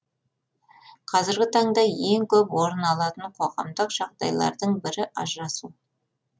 қазіргі таңда ең көп орын алатын қоғамдық жағдайлардың бірі ажырасу